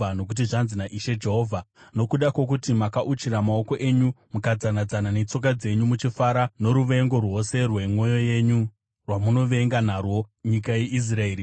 Nokuti zvanzi naIshe Jehovha: Nokuda kwokuti makauchira maoko enyu mukadzana-dzana netsoka dzenyu muchifara noruvengo rwose rwemwoyo yenyu rwamunovenga narwo nyika yeIsraeri,